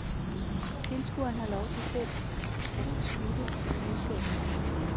Tilskueren har lov til selv beslutte, hvad budskabet er.